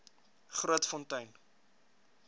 grootfontein